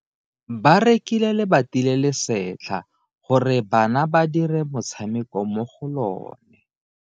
Ba rekile lebati le le setlha gore bana ba dire motshameko mo go lona.